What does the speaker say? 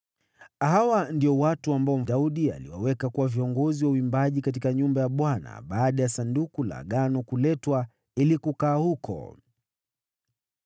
Hawa ndio watu ambao Daudi aliwaweka kuwa viongozi wa uimbaji katika nyumba ya Bwana , baada ya Sanduku la Agano kuletwa ili kukaa huko.